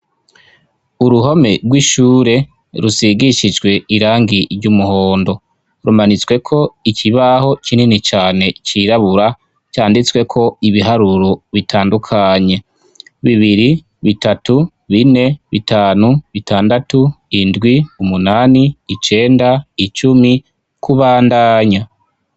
Uruhome rw'ishure rusigishijwe irangi ry'umuhondo rumanitsweko ikibaho kinini cane cirabura canditsweko ibiharuro bitandukanye; bibiri, bitatu, bine, bitanu, bitandatu, indwi, umunani, icenda, icumi kubandanya.